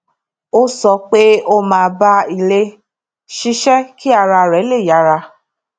ó sọ pé ó máa bá ilé ṣiṣẹ kí ara rẹ lè yára